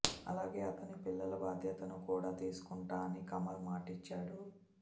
అలాగే అతని పిల్లల బాధ్యతను కూడా తీసుకుంటా అని కమల్ మాటిచ్చాడు